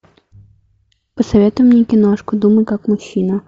посоветуй мне киношку думай как мужчина